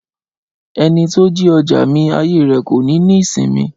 Ẹni tó jí ọjà mi, ayé rẹ̀ kò ní ní ìsinmi